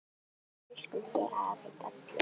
Við elskum þig, afi Dalli.